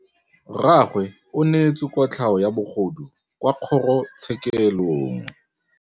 Rragwe o neetswe kotlhaô ya bogodu kwa kgoro tshêkêlông.